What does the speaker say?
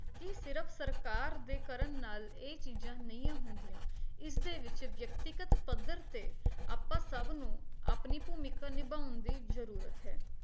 ਕੀ ਸਿਰਫ ਸਰਕਾਰ ਦੇ ਕਰਨ ਨਾਲ ਇਹ ਚੀਜ਼ਾਂ ਨਹੀਂ ਹੁੰਦੀਆਂ, ਇਸ ਦੇ ਵਿੱਚ ਵਿਅਕਤੀਗਤ ਪੱਧਰ ਤੇ ਆਪਾਂ ਸਭ ਨੂੰ ਆਪਣੀ ਭੂਮਿਕਾ ਨਿਭਾਉਣ ਦੀ ਜਰੂਰਤ ਹੈ